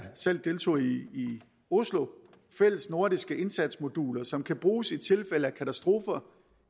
selv deltog i i oslo at have fælles nordiske indsatsmoduler som kan bruges i tilfælde af katastrofer